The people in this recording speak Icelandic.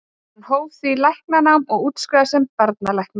hann hóf því læknanám og útskrifaðist sem barnalæknir